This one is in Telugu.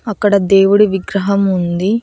అక్కడ దేవుడి విగ్రహం ఉంది.